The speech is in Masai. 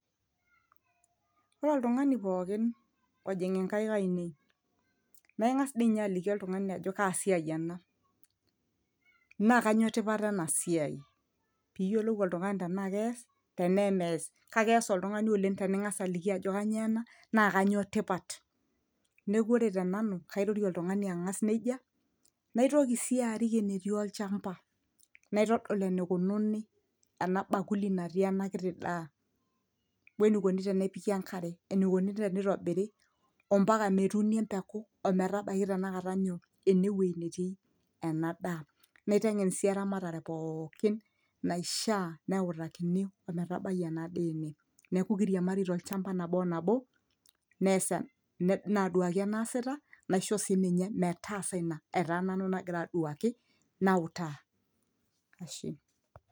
Ore oltungani pookin ojing' inkaik ainei, naa ingas diinye aliki ajo kaa siai ena, naa kanyio tipat ena siai pee iyiolou tenaa kees tenaa aimeas kake eas oltungani oleng' teningas aliki ajo kanyio ena, naa kanyio tipat. Neeku ore tenanu kairorie oltungani angas nejia. Naitoki sii arik enetii olchamba naitodo enekununi ena bakuli natii ena kiti daa, wenikoni tenepiki enkare enikoni tenitobiri ombaka metuuni embeku ometabaiki tanakata nyoo enewoji netii ena daa Naitengen sii eramatare pookin naishaa metuuni ometabai ena daa ene, neeku kiriamari tolchamba nabo onabo, naduaki enaasita naishoo sii ninye metaasa ina etaa nanu nagira aduaki nautaa.